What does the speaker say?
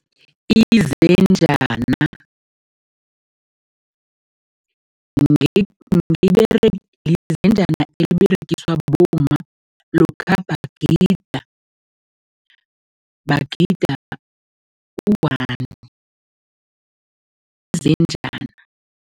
Izenjana eberegiswa bomma lokha bagida, bagida u-one, izenjana.